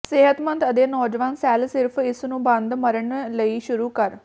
ਸਿਹਤਮੰਦ ਅਤੇ ਨੌਜਵਾਨ ਸੈੱਲ ਸਿਰਫ਼ ਇਸ ਨੂੰ ਬੰਦ ਮਰਨ ਲਈ ਸ਼ੁਰੂ ਕਰ